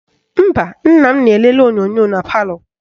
Mba, nna m na-elele onyonyo na palọ